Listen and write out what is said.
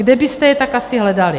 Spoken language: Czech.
Kde byste je tak asi hledali?